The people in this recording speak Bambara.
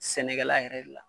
Sɛnɛkɛla yɛrɛ de la.